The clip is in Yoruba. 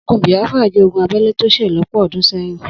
Ogun Biafra jẹ́ ogún abẹ́lé tó ṣẹ̀ lọ́pọ̀ ọdún sẹ́yìn.